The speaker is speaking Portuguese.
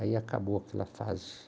Aí acabou aquela fase.